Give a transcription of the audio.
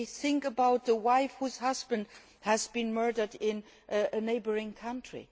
we think about the wife whose husband has been murdered in a neighbouring country